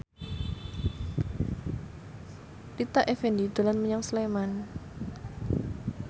Rita Effendy dolan menyang Sleman